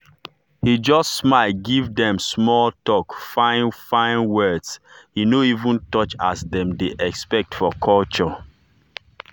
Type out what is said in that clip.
he just smile give dem smalltalk fine fine words he no even touch as dem dey expect for culture.